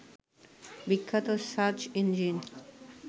বিখ্যাত search engine